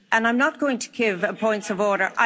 I'm not going to give points of order.